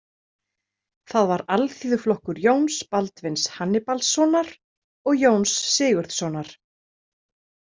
Það var Alþýðuflokkur Jóns Baldvins Hannibalssonar og Jóns Sigurðssonar.